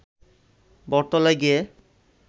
বটতলায় গিয়ে